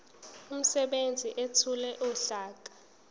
umsebenzi ethule uhlaka